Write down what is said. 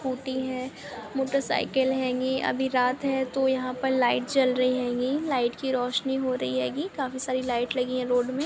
Scooty है motorcycle हेगी अभी रात है तो यहाँ पर लाइट जल रही हेगी लाइट की रोशनी हो रही हेगी काफी सारी लाइट लगी हेगी रोड मे।